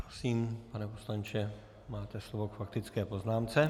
Prosím, pane poslanče, máte slovo k faktické poznámce.